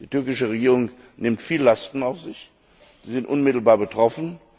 Die türkische Regierung nimmt viele Lasten auf sich, sie sind unmittelbar betroffen.